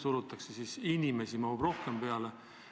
Te ütlesite, et inimesi peab rohkem rongi peale mahtuma.